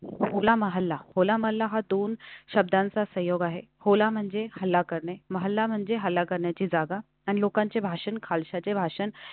होला मोहल्ला दोन शब्दांचा सहयोग आहे. होला म्हणजे खाल्ला करणे, मोहल्ला म्हणजे हल्ला करण्याची जागा, आणि लोकांचे भाषण, खचला भाषण.